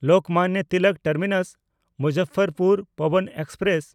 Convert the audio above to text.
Lokmanya Tilak ᱴᱟᱨᱢᱤᱱᱟᱥ–ᱢᱩᱡᱟᱯᱷᱚᱨᱯᱩᱨ Pawan express